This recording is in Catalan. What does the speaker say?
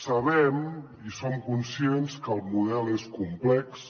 sabem i som conscients que el model és complex